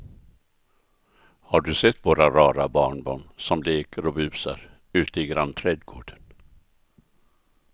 Har du sett våra rara barnbarn som leker och busar ute i grannträdgården!